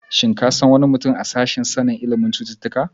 Shin ka san wani mutum ya sashen ilimin sanin cututtuka?